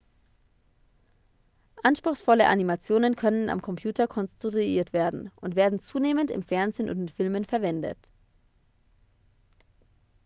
anspruchsvolle animationen können am computer konstruiert werden und werden zunehmend im fernsehen und in filmen verwendet